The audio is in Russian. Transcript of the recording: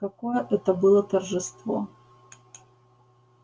какое это было торжество